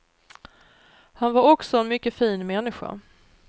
Han var också en mycket fin människa.